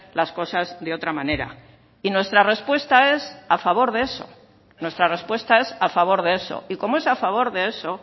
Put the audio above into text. las cosas de otra manera y nuestra respuesta es a favor de eso nuestra respuesta es a favor de eso y como es a favor de eso